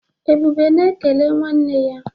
Ebube na-ekele nwanne ya.